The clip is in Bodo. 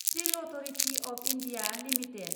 steel authority of India limited